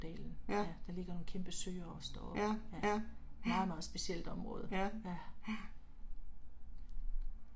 Ja. Ja, ja. Ja, ja